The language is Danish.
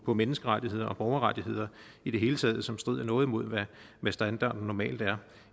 på menneskerettigheder og borgerrettigheder i det hele taget som strider noget imod hvad standarden normalt er